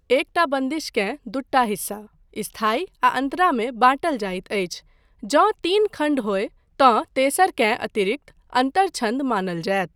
एकटा बन्दिशकेँ दूटा हिस्सा स्थायी आ अन्तरा मे बाँटल जाइत अछि, जँ तीन खण्ड होय तँ तेसरकेँ अतिरिक्त अन्तर छन्द मानल जायत।